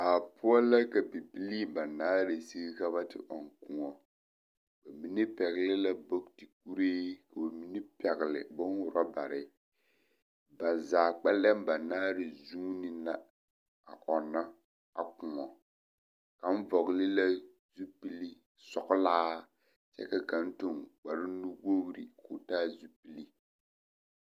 Baa poɔ la ka bibilii banaare sigi ka ba te ɔŋ kõɔ ba mine pɛgele la booti kuree ka bamine pɛgele boŋ-robare ba zaa kpɛlɛm banaare zuuni la a ɔnnɔ a kõɔ kaŋ vɔgele la zupili sɔgelaa kyɛ ka kaŋ toŋ kpare nu-wogiri k'o taa zupili.